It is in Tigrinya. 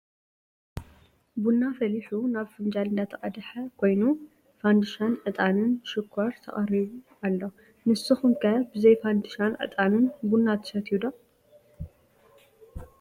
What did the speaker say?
ቡና ፈሊሑ ናብ ፍንጃል እንዳተቀደሓ ኮይኑ ፋንድሻን ዕጣን፣ ሽኮር ተቀሪቡ ኣሎ። ንስኩም ከ ብዘይ ፋንድሻን ዕጣንን ቡና ትሰትዮ ዶ ?